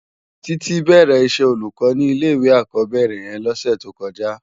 Titi bèrè iṣè ólúkò ni ilé iwé ákòbèrè yèn lòsè tókòjá